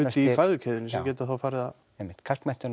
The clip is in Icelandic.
í fæðukeðjunni sem geta þá farið að einmitt